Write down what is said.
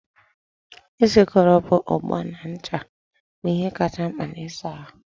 ị sịkrọbụ ogbo na ncha bụ ihe kachasị mkpa n'ịsa ahụ.